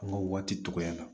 An ka waati dɔgɔyara